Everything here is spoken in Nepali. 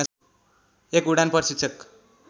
एक उडान प्रशिक्षक